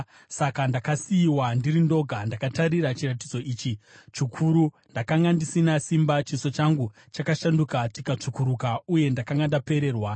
Saka ndakasiyiwa ndiri ndoga, ndakatarira kuchiratidzo ichi chikuru; ndakanga ndisisina simba, chiso changu chakashanduka chikatsvukuruka uye ndakanga ndapererwa.